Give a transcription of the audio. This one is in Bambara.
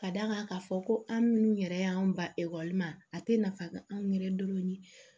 Ka d'a kan k'a fɔ ko an minnu yɛrɛ y'an ba ekɔli ma a tɛ nafa dɔn anw yɛrɛ dɔrɔn